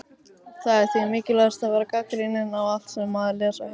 Það er því mikilvægt að vera gagnrýninn á allt sem maður les og heyrir.